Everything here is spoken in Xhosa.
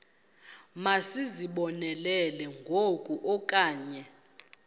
masizibonelele ngoku okanye